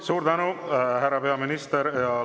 Suur tänu, härra peaminister!